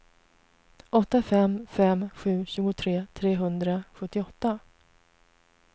åtta fem fem sju tjugotre trehundrasjuttioåtta